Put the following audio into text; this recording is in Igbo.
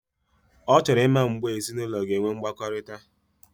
Ochoro imma mgeb ezi na ulo ga enwe mgbakorita.